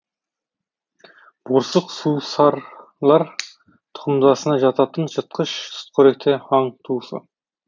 борсық сусарлар тұқымдасына жататын жыртқыш сүтқоректі аң туысы